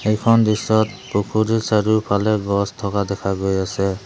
এইখন দৃশ্যত পুখুৰীৰ চাৰিওফালে গছ থকা দেখা গৈ আছে।